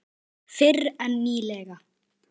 Fyrr en nýlega.